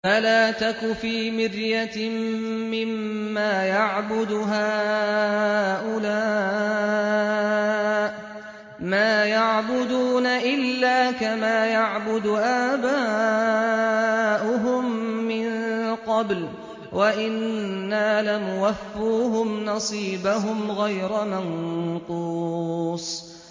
فَلَا تَكُ فِي مِرْيَةٍ مِّمَّا يَعْبُدُ هَٰؤُلَاءِ ۚ مَا يَعْبُدُونَ إِلَّا كَمَا يَعْبُدُ آبَاؤُهُم مِّن قَبْلُ ۚ وَإِنَّا لَمُوَفُّوهُمْ نَصِيبَهُمْ غَيْرَ مَنقُوصٍ